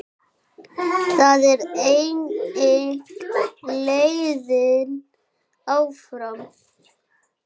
Það er einnig leiðin áfram.